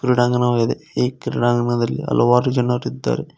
ಕ್ರೀಡಾಂಗಣವಾಗಿದೆ ಈ ಕ್ರೀಡಾಂಗಣದಲ್ಲಿ ಹಲವಾರು ಜನರಿದ್ದಾರೆ.